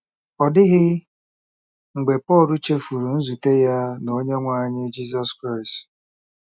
Ọ dịghị mgbe Pọl chefuru nzute ya na Onyenwe anyị Jizọs Kraịst